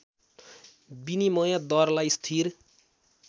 विनिमय दरलाई स्थिर